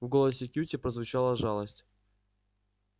в голосе кьюти прозвучала жалость